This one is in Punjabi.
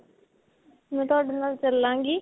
ਮੈਂ ਤੁਹਾਡੇ ਨਾਲ ਚੱਲਾਂਗੀ